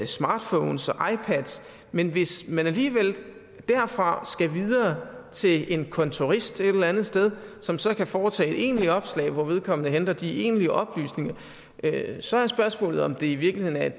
smartphones og ipads men hvis man alligevel derfra skal videre til en kontorist et eller andet sted som så kan foretage det egentlige opslag hvor vedkommende henter de egentlige oplysninger så er spørgsmålet om det i virkeligheden er